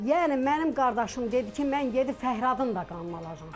Yəni mənim qardaşım dedi ki, mən gedib Fəhradın da qanını alacam.